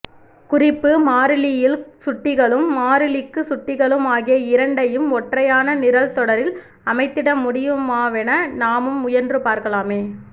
குறிப்பு மாறிலியில் சுட்டிகளும் மாறிலிக்கு சுட்டிகளும் ஆகிய இரண்டையும் ஒற்றையான நிரல்தொடரில் அமைத்திடமுடியுமாவென நாமும் முயன்றுபார்க்கலாமே